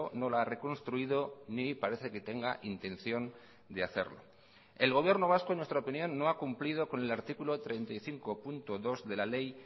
no la ha reconstruido ni parece que tenga intención de hacerlo el gobierno vasco en nuestra opinión no ha cumplido con el artículo treinta y cinco punto dos de la ley